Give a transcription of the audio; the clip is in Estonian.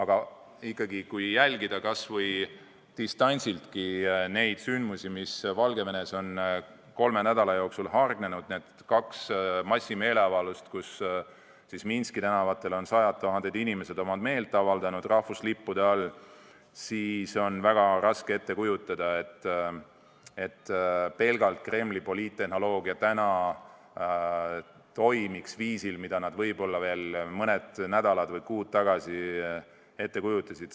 Samas kui jälgida kas või distantsiltki neid sündmusi, mis Valgevenes on kolme nädala jooksul hargnenud – need kaks massimeeleavaldust, kus Minski tänavatel sajad tuhanded inimesed rahvuslippude all meelt avaldasid –, siis on väga raske ette kujutada, et Kremli poliittehnoloogia toimiks praegugi viisil, nagu nad võib-olla veel mõned nädalad või kuud tagasi ette kujutasid.